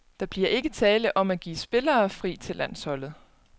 Der bliver ikke tale om at give spillere fri til landsholdet.